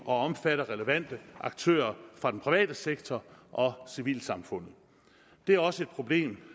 og omfatter relevante aktører fra den private sektor og civilsamfundet det er også et problem